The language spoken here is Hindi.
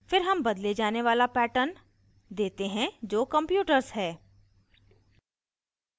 फिर हम बदले जाने वाला pattern देते हैं जो computers है